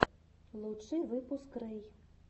лучший выпуск рэй